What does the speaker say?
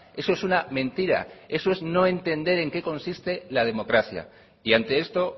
eso es una mentira eso no entender en qué consiste la democracia y ante esto